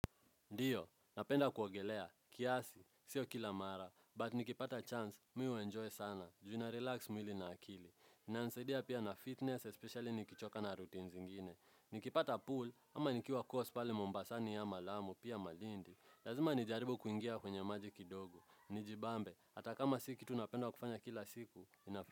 Ndiyo, napenda kuogelea, kiasi, sio kila mara, but nikipata chance, mimi huu enjoy sana, juu na relax mwili na akili. Inanisaidia pia na fitness, especially nikichoka na routine zingine. Nikipata pool, ama nikiwa coast pale mombasani ama lamu, pia malindi. Lazima nijaribu kuingia kwenye maji kidogo. Nijibambe, ata kama si kitu napenda kufanya kila siku.